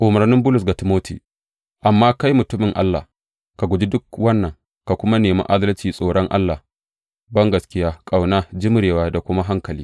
Umarnin Bulus ga Timoti Amma kai, mutumin Allah, ka guji duk wannan, ka kuma nemi adalci, tsoron Allah, bangaskiya, ƙauna, jimrewa da kuma hankali.